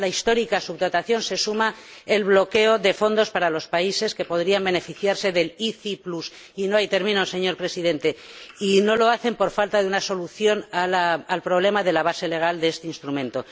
A la histórica subdotación se suma el bloqueo de fondos para los países que podrían beneficiarse del ICI y termino, señor Presidente no lo hacen por falta de una solución al problema de la base legal de este instrumento.